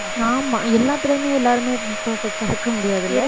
ஆமா எல்லாத்துலையுமே எல்லாருமே perfect ஆ இருக்க முடியாதுல்ல